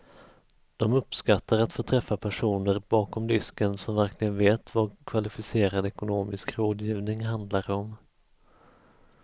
De uppskattar att få träffa personer bakom disken som verkligen vet vad kvalificerad ekonomisk rådgivning handlar om.